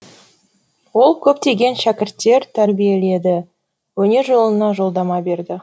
ол көптеген шәкірттер тәрбиеледі өнер жолына жолдама берді